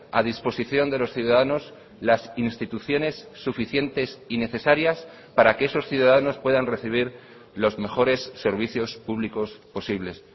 a disposición de los ciudadanos las instituciones suficientes y necesarias para que esos ciudadanos puedan recibir los mejores servicios públicos posibles